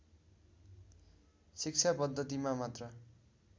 शिक्षा पद्धतिमा मात्र